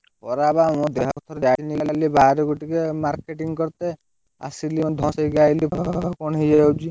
ଖରା ବା ମୋ ଦେହ ହାତ ଜାଳି ହେଇଯାଉଛି ଯାଇ ହଉନି ବାହାରକୁ marketing କରିତେ, ଆସିଲି ଧଇଁ ସଇଁ ଏବେ ଆଇଲି ତ ଦେହ କଣ ହେଇଯାଉଛି।